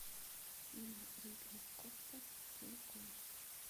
фильм ридли скотта кинг конг